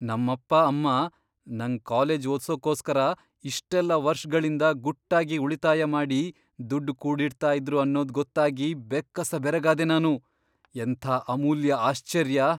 ನಮ್ಮಪ್ಪ ಅಮ್ಮ ನಂಗ್ ಕಾಲೇಜ್ ಓದ್ಸೋಕೋಸ್ಕರ ಇಷ್ಟೆಲ್ಲ ವರ್ಷ್ಗಳಿಂದ ಗುಟ್ಟಾಗಿ ಉಳಿತಾಯ ಮಾಡಿ ದುಡ್ಡ್ ಕೂಡಿಡ್ತಾ ಇದ್ರು ಅನ್ನೋದ್ ಗೊತ್ತಾಗಿ ಬೆಕ್ಕಸ ಬೆರಗಾದೆ ನಾನು. ಎಂಥ ಅಮೂಲ್ಯ ಆಶ್ಚರ್ಯ!